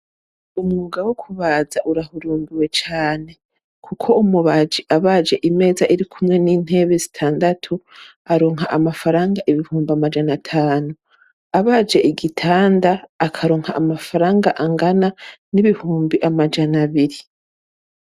Umwuga wo kubaza urahurumbiwe cyane kuko umubaji abaje imeza iri kumwe n'intebe zitandatu aronka amafaranga ibihumbi amajana atanu abaje igigitanda akaronka amafaranga angana n'ibihumbi amajana abiri.